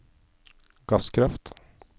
gasskraft